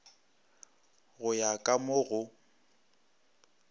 go ya ka mo go